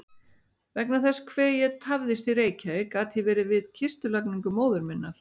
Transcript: Vegna þess hve ég tafðist í Reykjavík gat ég verið við kistulagningu móður minnar.